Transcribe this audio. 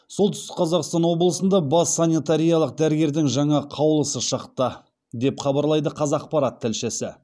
солтүстік қазақстан облысында бас санитариялық дәрігердің жаңа қаулысы шықты деп хабарлайды қазақпарат тілшісі